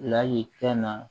Lahayi fɛn na